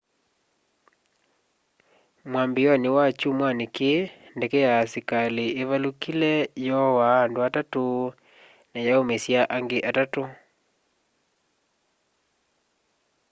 mwambiioni wa kyumwani kii ndeke ya asikali ivalukile yoaa andu atatu na yaumisya angi atatu